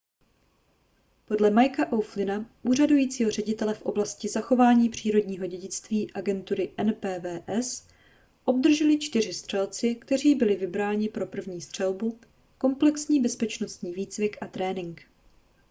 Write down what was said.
podle micka o'flynna úřadujícího ředitele v oblasti zachování přírodního dědictví agentury npws obdrželi čtyři střelci kteří byli vybrání pro první střelbu komplexní bezpečnostní výcvik a trénink